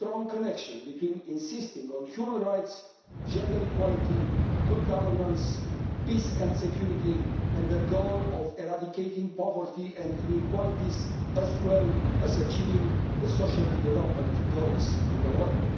a strong connection between insisting on human rights, gender equality, good governance, peace and security, and the goal of eradicating poverty and inequalities as well as achieving the social development goals in the world.